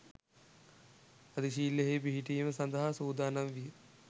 අධිශීලයෙහි පිහිටීම සඳහා සූදානම් විය.